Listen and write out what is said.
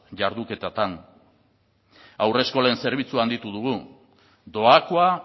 jarduketatan haurreskolen zerbitzua handitu dugu doakoa